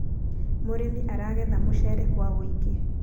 mũrĩmi aragetha mũcere kwa ũingĩ .